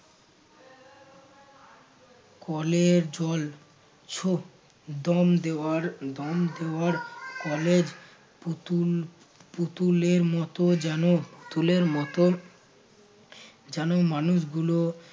কলের জল ছো দম দেওয়ার দম দেওয়ার কলের পুতুল পুতুলের মতো যেন পুতুলের মতো যেন মানুষ গুলো